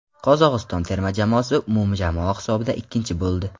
Qozog‘iston terma jamoasi umumjamoa hisobida ikkinchi bo‘ldi.